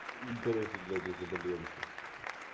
и короче блять я заболел ещё сука